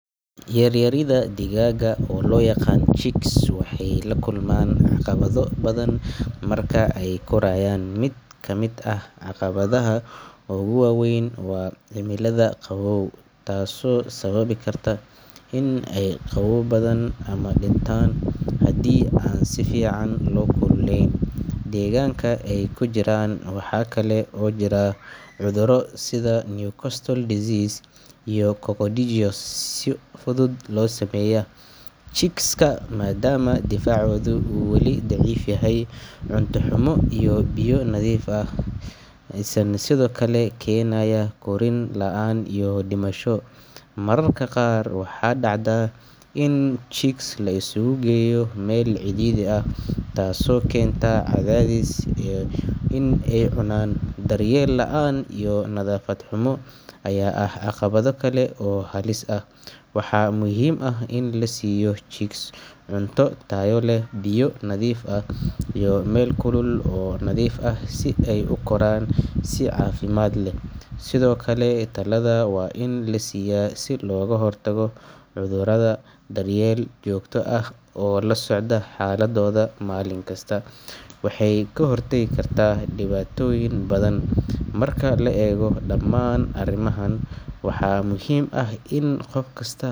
Yaryarida digaagga oo loo yaqaan chicks waxay la kulmaan caqabado badan marka ay korayaan. Mid ka mid ah caqabadaha ugu waa weyn waa cimilada qabow, taasoo sababi karta in ay qabowdaan ama dhintaan haddii aan si fiican loo kululeyn deegaanka ay ku jiraan. Waxa kale oo jira cudurro sida Newcastle disease iyo coccidiosis oo si fudud u saameeya chicks-ka maadaama difaacooda uu weli daciif yahay. Cunto xumo iyo biyo nadiif ah la’aan ayaa sidoo kale keenaya korriin la’aan iyo dhimasho. Mararka qaar, waxaa dhacda in chicks la isugu geeyo meel cidhiidhi ah taasoo keenta cadaadis iyo in ay is cunaan. Daryeel la’aan iyo nadaafad xumo ayaa ah caqabado kale oo halis ah. Waxaa muhiim ah in la siiyo chicks cunto tayo leh, biyo nadiif ah, iyo meel kulul oo nadiif ah si ay u koraan si caafimaad leh. Sidoo kale, tallaalada waa in la siiyaa si looga hortago cudurrada. Daryeel joogto ah oo la socda xaaladdooda maalin kasta waxay ka hortagi kartaa dhibaatooyin badan. Marka la eego dhammaan arrimahan, waxaa muhiim ah in qof kasta.